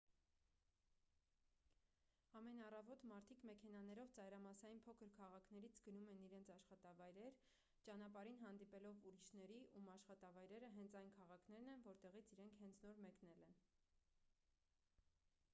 ամեն առավոտ մարդիկ մեքենաներով ծայրամասային փոքր քաղաքներից գնում են իրենց աշխատավայրեր ճանապարհին հանդիպելով ուրիշների ում աշխատավայրերը հենց այն քաղաքներն են որտեղից իրենք հենց նոր մեկնել են